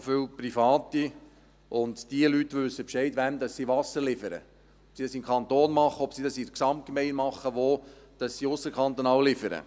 Es hat auch viele Private, und diese Leute wissen Bescheid, wem sie Wasser liefern: ob sie dies im Kanton machen, ob sie es in der Gesamtgemeinde machen, wo sie ausserkantonal liefern.